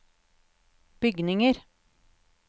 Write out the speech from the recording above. bygninger